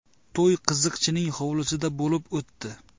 To‘y qiziqchining hovlisida bo‘lib o‘tdi.